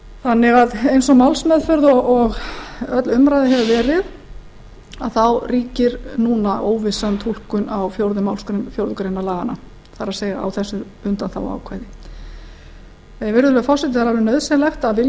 þannig að eins og málsmeðferð og öll umræða hefur verið þá ríkir núna óvissa um túlkun á fjórðu málsgrein fjórðu grein laganna það er á þessu undanþáguákvæði virðulegur forseti það er alveg nauðsynlegt að vilji